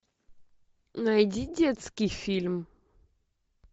найди детский фильм